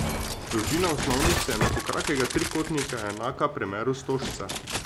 Dolžina osnovnice enakokrakega trikotnika je enaka premeru stožca.